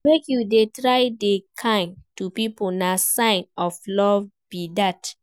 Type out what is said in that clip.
Make you dey try dey kind to pipo, na sign of love be dat.